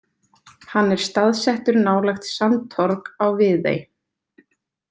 Hann er staðsettur nálægt Sandtorg á Viðey.